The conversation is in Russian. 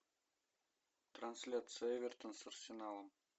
трансляция эвертон с арсеналом